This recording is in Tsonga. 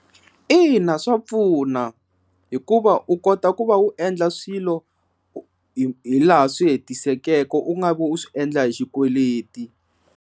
Ina, swa pfuna hikuva u kota ku va u endla swilo hi laha swi hetiseka u nga vi u swi endla hi xikweleti.